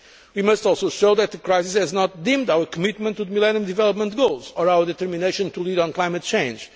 We must also show that the crisis has not dimmed our commitment to the Millennium Development Goals or our determination to lead on climate change.